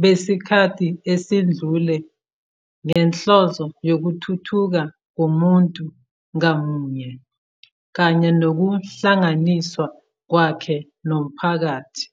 besikhathi esedlule ngenhloso yokuthuthuka komuntu ngamunye kanye nokuhlanganiswa kwakhe nomphakathi.